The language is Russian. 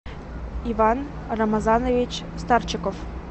иван рамазанович старчиков